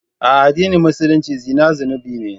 A addinin Musulunci zina zunubi ne.